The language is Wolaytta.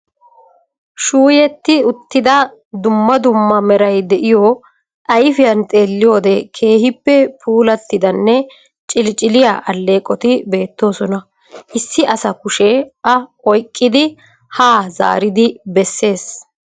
Shuuyetti uttida dumma dumma meray de'iyo ayfiyan xeeliyode keehippe puulattidanne ciliciliya aleeqoti beettoosona. Issi asa kushe a oyqqidi haa zaaridi besees.